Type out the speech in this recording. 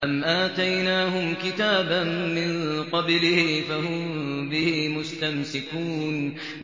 أَمْ آتَيْنَاهُمْ كِتَابًا مِّن قَبْلِهِ فَهُم بِهِ مُسْتَمْسِكُونَ